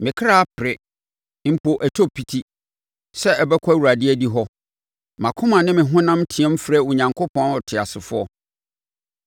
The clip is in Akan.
Me kra pere, mpo ɛtɔ piti, sɛ ɔbɛkɔ Awurade adihɔ; mʼakoma ne me honam team frɛ Onyankopɔn ɔteasefoɔ.